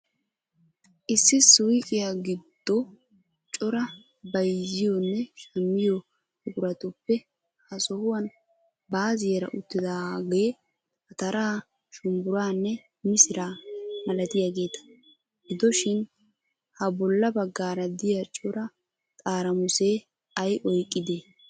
Issi suyqqiyaa giddo cora bayziyonne shammiyo buqquratuppe ha sohuwaani 'baaziyara' uttidagge ataraa, shumburaanne misiraa malattiyagetta. Gidoshshin ha bolla baggara diyaa cora xaaramusse ay oyqqide?